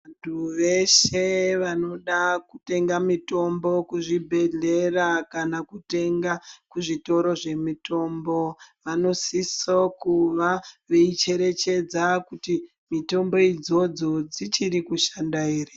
Vantu veshe vanoda kutenga mitombo kuzvibhehlera kana kutenge kuzvitoro zvemitombo vanosise kuva veicherechedza kuti mitombo idzodzo dzichiri kushanda here.